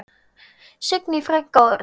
Signý frænka og Örn.